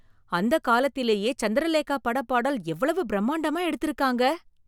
அந்தக் காலத்திலேயே சந்திரலேகா பட பாடல் எவ்வளவு பிரம்மாண்டமா எடுத்து இருக்காங்க